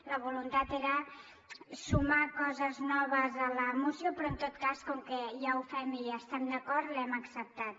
la voluntat era sumar coses noves a la moció però en tot cas com que ja ho fem i hi estem d’acord l’hem acceptat